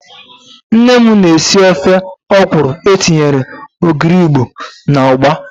Nne m na-esi ofe ọkwụrụ etinyere ogiri Igbo na ụgba.